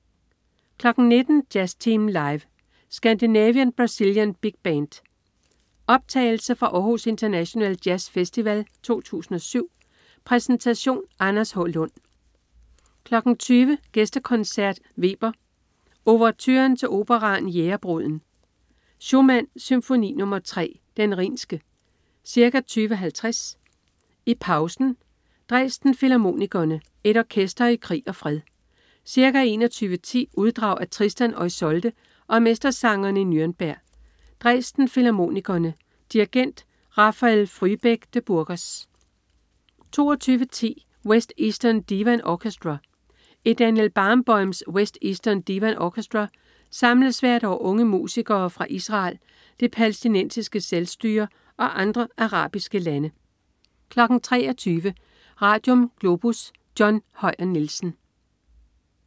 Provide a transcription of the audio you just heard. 19.00 Jazztimen live. Scandinavian-Brazilian Big Band. Optagelse fra Aarhus International Jazz Festival 2007. Præsentation: Anders H. Lund 20.00 Gæstekoncert. Weber: Ouverturen til operaen Jægerbruden. Schumann: Symfoni nr. 3, Den rhinske. Ca. 20.50 I pausen: Dresden Filharmonikerne, et orkester i krig og fred. Ca. 21.10 Uddrag af Tristan og Isolde og Mestersangerne i Nürnberg. Dresden Filharmonikerne. Dirigent: Rafael Frühbeck de Burgos 22.10 West Eastern Divan Orchestra. I Daniel Barenboims "West Eastern Divan Orchestra" samles hvert år unge musikere fra Israel, det palæstinensiske selvstyre og andre arabiske lande 23.00 Radium. Globus. John Høyer Nielsen